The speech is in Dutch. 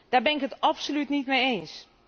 Daar ben ik het absoluut niet mee eens.